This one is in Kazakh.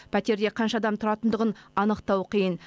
пәтерде қанша адам тұратындығын анықтау қиын